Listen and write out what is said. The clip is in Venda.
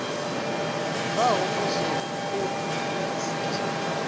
bvaho posoni khophi ya rasiti